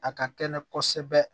A ka kɛnɛ kosɛbɛ